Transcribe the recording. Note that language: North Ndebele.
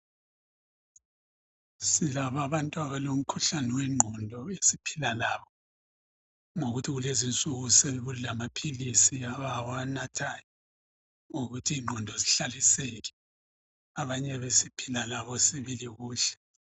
Silabo abantu abalo mkhuhlane wengqondo esiphila labo ngokuthi kulezinsuku sekulamaphilisi abawanathayo ukuthi ingqondo zihlaliseke abanye besiphila labo sibili kuhle .